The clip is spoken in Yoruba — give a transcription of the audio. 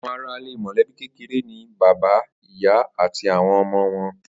Àwo̩n aráalé mò̩lé̩bí kékeré ni bàbá, ìyá àti àwo̩n o̩mo̩ wo̩n